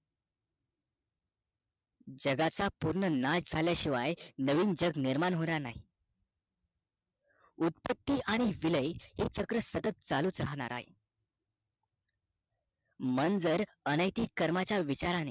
जगाचा पूर्ण नाश झाल्या शिवाय नवीन जग निर्माण होणार नाही उत्पत्ति आणि विलय हे चक्र सतत चालूच राहणार आहे मन जर अनॆतिक कर्माचा विचाराने